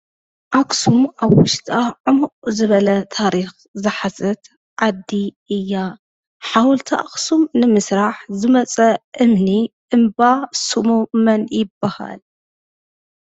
ኣኽሱም ኣብ ዉሽጣ ዕሙቅ ዝበለ ታሪክ ዝሓዘት ዓዲ እያ። ሓውልቲ ኣክሱም ንምስራሕ ዝመፀ እምኒ እምባ ሽሙ መይ ይበሃል?